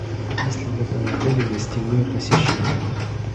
есть ли в этом отеле гостевое посещение